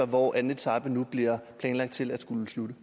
hvor anden etape nu er planlagt til at skulle slutte